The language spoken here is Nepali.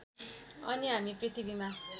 अनि हामी पृथ्वीमा